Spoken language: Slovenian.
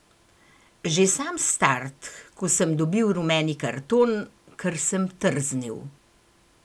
Že sam start, ko sem dobil rumeni karton, ker sem trznil.